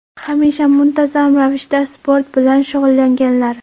Hamisha muntazam ravishda sport bilan shug‘ullanganlar.